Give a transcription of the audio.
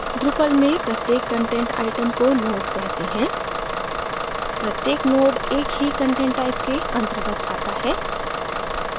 drupal में प्रत्येक content item को node कहते हैं प्रत्येक node एक ही कंटेंट type के अंतर्गत आता है